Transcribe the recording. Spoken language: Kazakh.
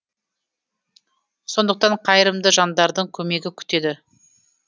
сондықтан қайырымды жандардың көмегі күтеді